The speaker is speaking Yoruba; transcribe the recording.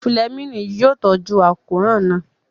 Fúlẹ́mìnì yóò tọ́jú àkóràn náà